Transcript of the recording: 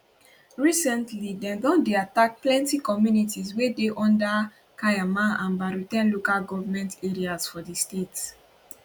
recently dem don dey attack plenty communities wey dey under kaiama and baru ten local govment areas for di state